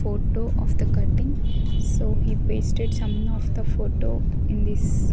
photo of the cutting so he pasted some of the photo in this --